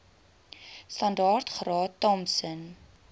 standaard graad thompson